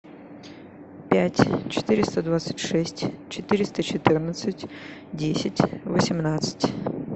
пять четыреста двадцать шесть четыреста четырнадцать десять восемнадцать